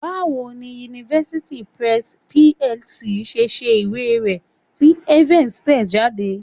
Báwo ni University Press PLC ṣe ṣe ìwé rẹ tí Evans tẹ̀ ẹ́ jáde?